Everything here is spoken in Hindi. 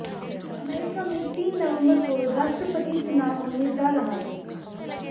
अमेरिका में तीन नवंबर को राष्ट्रपति चुनाव होने जा रहा है